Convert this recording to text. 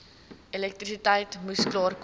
elektrisiteit moes klaarkom